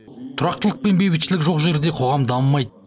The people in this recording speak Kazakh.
тұрақтылық пен бейбітшілік жоқ жерде қоғам дамымайды